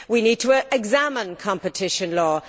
We need to examine competition law.